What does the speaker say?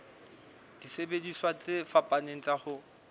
disebediswa tse fapaneng tsa ho